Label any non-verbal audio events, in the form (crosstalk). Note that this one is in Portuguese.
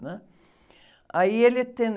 né? Aí ele (unintelligible)